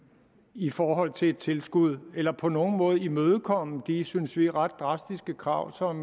i forhold til et tilskud eller på nogen måde imødekomme de synes vi ret drastiske krav som